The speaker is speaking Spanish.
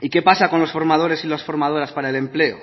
y qué pasa con los formadores y las formadoras para el empleo